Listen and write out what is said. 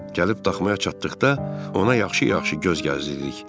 Gəlib daxmaya çatdıqda ona yaxşı-yaxşı göz gəzdirdik.